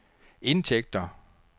indtægter